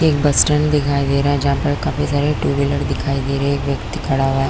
एक bus stand दिखाई दे रहा है जहाँ पर काफी सारे टू विलर दिखाई दे रहा है एक व्यक्ति खड़ा हुआ--